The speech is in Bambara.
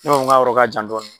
Ne b'a fɔ nga yɔrɔ ka jan dɔɔnin.